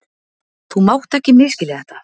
Þú mátt ekki misskilja þetta.